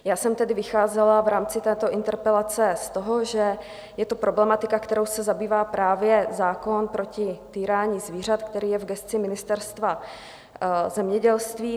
Já jsem tedy vycházela v rámci této interpelace z toho, že je to problematika, kterou se zabývá právě zákon proti týrání zvířat, který je v gesci Ministerstva zemědělství.